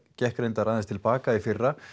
gekk reyndar aðeins til baka í fyrra